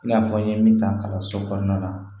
I n'a fɔ n ye min ta kalanso kɔnɔna na